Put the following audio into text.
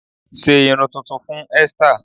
Sé irun tuntun fún Easter!